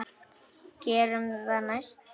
Gerum það næst.